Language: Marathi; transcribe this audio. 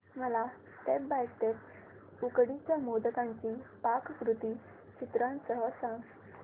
मला स्टेप बाय स्टेप उकडीच्या मोदकांची पाककृती चित्रांसह सांग